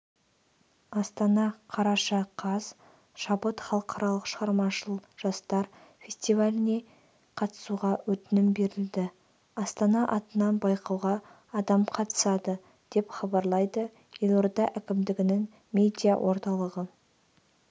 астана қараша қаз шабыт халықаралық шығармашыл жастар фестивалінеқатысуға өтінім берілді астана атынан байқауға адам қатысады деп хабарлайды елорда әкімдігінің медиа орталығы